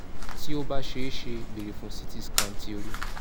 ti o ba ṣee ṣe beere fun ct scan ti ori